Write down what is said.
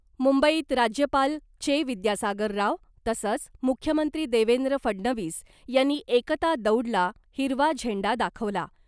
मुंबईत राज्यपाल चे विद्यासागर राव तसंच मुख्यमंत्री देवेंद्र फडणवीस यांनी एकता दौडला हिरवा झेंडा दाखवला .